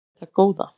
Hvað er þetta góða!